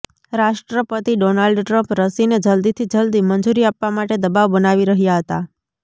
રાષ્ટ્રપતિ Donald Trump રસીને જલદીથી જલદી મંજૂરી આપવા માટે દબાવ બનાવી રહ્યા હતા